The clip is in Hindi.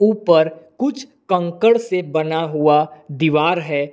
ऊपर कुछ कंकड़ से बना हुआ दीवार है।